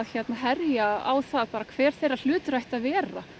herja á það hver þeirra hlutur ætti að vera